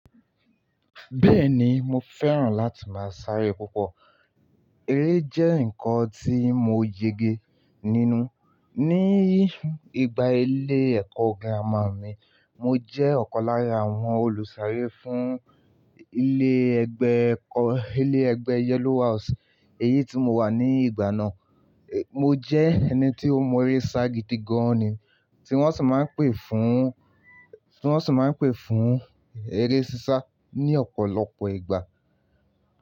Bẹ́ẹ̀ni, mo fẹ́ràn láti máa sáré púpọ̀. Eré jẹ́ nǹkan tí mo yege nínú. Ni ìgbà ilé ẹ̀kọ́ gírámà mi, mo jẹ́ ọ̀kan lára àwọn olùsàré fún ilé ẹgbẹ́ ẹ̀kọ́, ilé ẹgbẹ́ Yellow House. Èyí tí mo wà ní ìgbà náà, mo jẹ́ ẹni tí ó mọ eré sagidi gan-an ni, tí wọ́n sì máa ń pè fún, tí wọ́n sì máa ń pè fún eré sísá ní ọ̀pọ̀lọpọ̀ ìgbà.